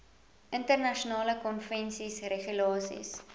internasionale konvensies regulasies